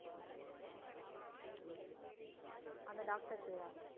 அந்த doctor பேரா?